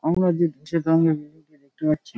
আমরা যে সে কারণে কে দেখতে পাচ্ছি |